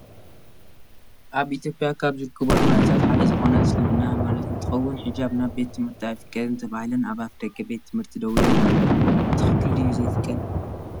ኣብ ኢትዮጵያ ካብ ዝርከቡ ሃይማኖታት ሓደ ዝኮነ እስልምና ሃይማኖት እንትከውን፣ ሕጃብ ናብ ቤት ትምህርቲ ኣይፍቀድን ተባሂለን ኣብ ኣፍደገ ቤት-ትምህርቲ ዶው ኢለን አለዋ። ብትክክል ድዩ ዘይፍቀድ?